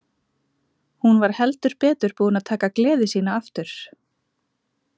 Hún var heldur betur búin að taka gleði sína aftur.